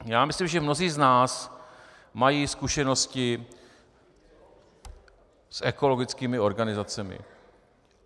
Já myslím, že mnozí z nás mají zkušenosti s ekologickými organizacemi.